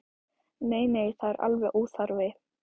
Nei, nei, það er alveg óþarfi.